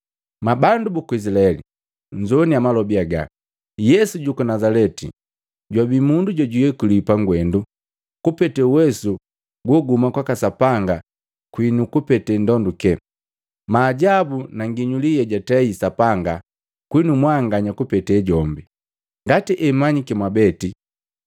Mwabandu buku Izilaeli, nnzowaniniya malobi aga! Yesu juku Nazaleti jwabii mundu jojwayekuliwi pangwendu kupete uwesu goguhuma kwaka Sapanga kwinu kupete ndonduke, maajabu na nginyuli yejatei Sapanga kwinu mwanganya kupete jombi, ngati hemanyiki mwabeti.